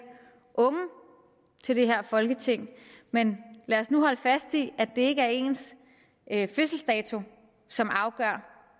unge til det her folketing men lad os nu holde fast i at det ikke er ens fødselsdato som afgør